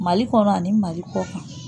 Mali kɔnɔ ani mali kɔ kan